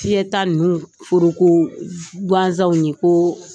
Fiyɛta ninnu foroko gansanw ye ko